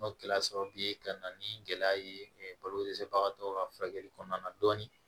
N'o kɛra sababu ye ka na ni gɛlɛya ye balo dɛsɛbagatɔw ka furakɛli kɔnɔna na dɔɔnin